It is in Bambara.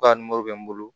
Ka bɛ n bolo